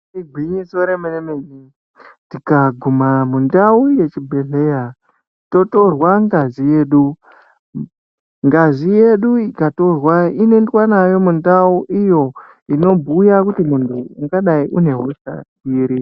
Igwinyiso remene tikaguma mundau yechibhedhlera totorwa ngazi yedu. Ngazi yedu ikatorwa inoyendwa nayo mundau iyo inobhuya kuti munhu ungadayi une hosha iri.